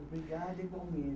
Obrigada, igualmen